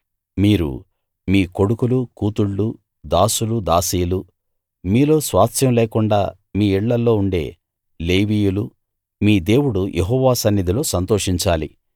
మీరు మీ కొడుకులు కూతుళ్ళు దాసులు దాసీలు మీలో స్వాస్థ్యం లేకుండా మీ ఇళ్ళలో ఉండే లేవీయులు మీ దేవుడు యెహోవా సన్నిధిలో సంతోషించాలి